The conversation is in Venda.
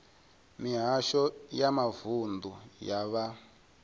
mihasho ya mavunḓu ya vha